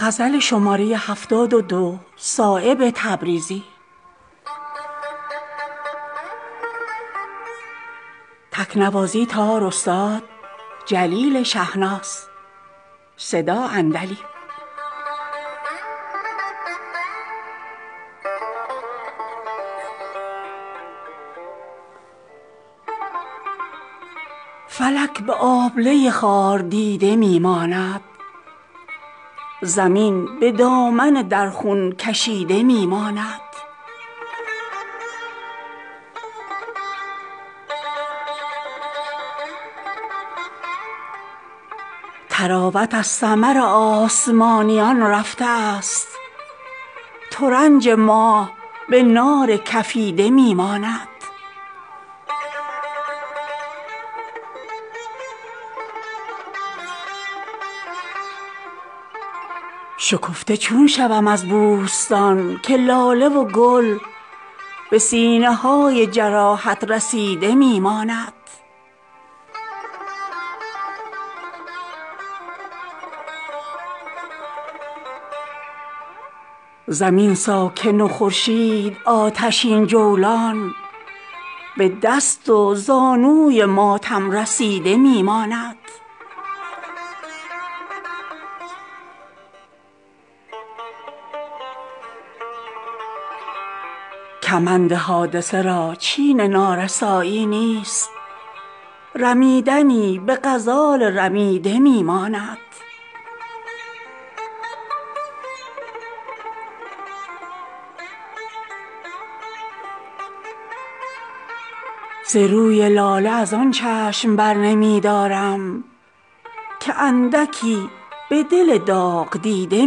فلک به آبله خار دیده می ماند زمین به دامن در خون کشیده می ماند طراوت از ثمر آسمانیان رفته است ترنج ماه به نار کفیده می ماند زمین ساکن و خورشید آتشین جولان به دست و زانوی ماتم رسیده می ماند نه سبزه اش به طراوت نه لاله اش به صفا فضای باغ به کشت چریده می ماند شکفته چون شوم از بوستان که لاله وگل به سینه های جراحت رسیده می ماند ز رشته های سرشکم که چشم بد مرساد زمین به صفحه مسطر کشیده می ماند مگر همای سعادت هوای من دارد که دل به طایر شهباز دیده می ماند ز آب چشم که این تاک سبز گردیده است که این شراب به خون چکیده می ماند کمند حادثه را چین نارسایی نیست رمیدنی به غزال رمیده می ماند گلی که دیده شبنم به خون نشسته اوست به پشت دست ندامت گزیده می ماند ز روی لاله ازان چشم برنمی دارم که اندکی به دل داغ دیده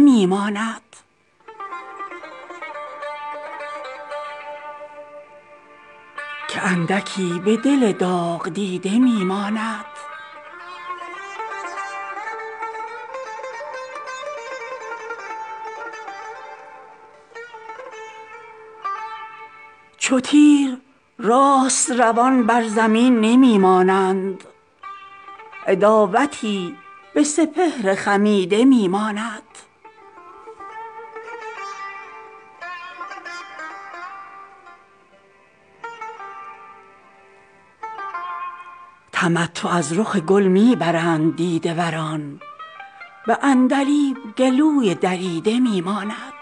می ماند چو تیر راست روان بر زمین نمی مانند عداوتی به سپهر خمیده می ماند تمتع از رخ گل می برند دیده وران به عندلیب گلوی دریده می ماند ز بس که آبله دل ز هم نمی گسلد نفس به رشته گوهر کشیده می ماند سخن شناس اگر در جهان بود صایب مرا کدام غزل از قصیده می ماند جواب آن غزل است این که گفت عارف روم خزان به گونه هجران کشیده می ماند